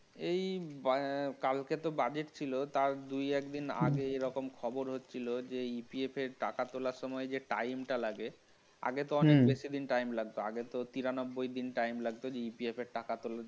এই কালকে তো budget ছিল এই দুই এক দিন আগে এরকম খবরও ছিল যে এই EPF এর টাকা তোলার সময় যে time টা লাগে আগে তো অনেক বেশি time লাগতো আগেতো তিরানব্বই দিন time লাগতো EPF এ টাকা তুলতে